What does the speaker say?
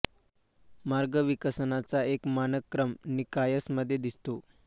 मार्ग विकसनाचा एक मानक क्रम निकायस मध्ये दिसतो